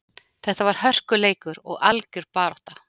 Þetta var hörkuleikur og algjör barátta.